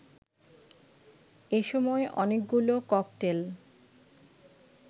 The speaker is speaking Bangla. এসময় অনেকগুলো ককটেল